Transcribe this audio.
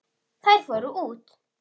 Þær fóru út.